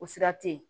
O sira tɛ ye